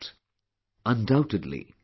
Undoubtedly, she did so